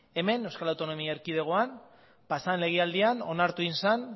hemen euskal autonomia erkidegoan pasadan legealdian onartu egin zen